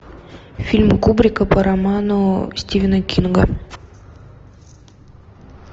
фильм кубрика по роману стивена кинга